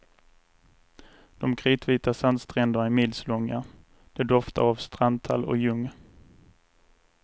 De kritvita sandstränderna är milslånga, det doftar av strandtall och ljung.